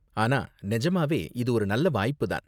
ஆனா நெஜமாவே இது ஒரு நல்ல வாய்ப்பு தான்.